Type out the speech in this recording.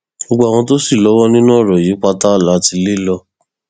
gbogbo àwọn tó sì lọwọ nínú ọrọ yìí pátá la ti lè lò